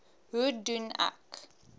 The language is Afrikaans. hoe doen ek